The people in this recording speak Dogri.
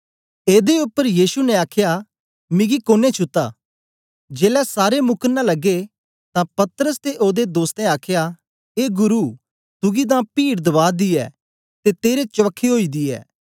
एदे उपर यीशु ने आखया मिग कोन्नें छुत्ता जेलै सारे मुकरने लगे तां पतरस ते ओदे दोस्तें आखया ए गुरु तुगी तां पीड दबा दी ऐ ते तेरे चवखे ओई दी ऐ